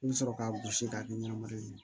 I bɛ sɔrɔ k'a gosi k'a kɛ ɲɛnamaya ye